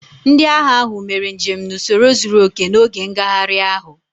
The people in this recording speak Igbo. Ndị agha ahụ mere njem n'usoro zuru oke n'oge ngagharị ahụ